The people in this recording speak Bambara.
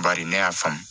Bari ne y'a faamu